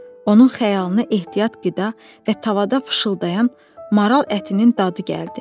Onun xəyalını ehtiyat qida və tavada fışıldayan maral ətinin dadı gəldi.